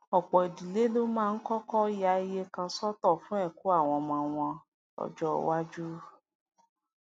òpò ìdílé ló máa ń kókó ya iye kan sótò fún èkó àwọn ọmọ wọn lójó iwájú